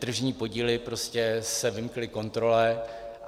Tržní podíly se prostě vymkly kontrole.